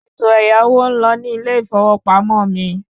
Ètò ẹ̀yáwó ń lọ ní ilé ìfowópamọ́ mi